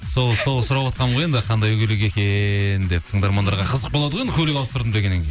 сол сұраватқанмын ғой енді қандай көлік екен деп тыңдармандарға қызық болады ғой енді көлік ауыстырдым дегеннен кейін